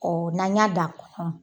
Ɔ n'an y'a dan a kɔnɔ